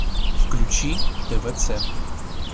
включи твц